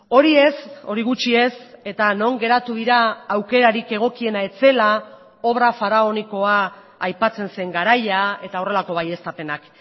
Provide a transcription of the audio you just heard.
hori ez hori gutxi ez eta non geratu dira aukerarik egokiena ez zela obra faraonikoa aipatzen zen garaia eta horrelako baieztapenak